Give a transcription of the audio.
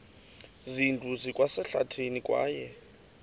zindlu zikwasehlathini kwaye